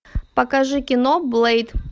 покажи кино блэйд